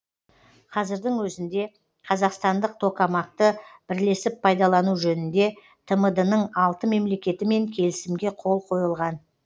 қазірдің өзінде қазақстандық токамак ты бірлесіп пайдалану жөнінде тмд ның алты мемлекетімен келісімге қол қойылған